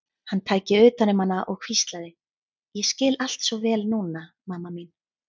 Hann tæki utan um hana og hvíslaði: Ég skil allt svo vel núna, mamma mín.